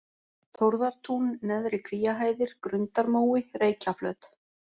Þórðartún, Neðri-Kvíahæðir, Grundarmói, Reykjaflöt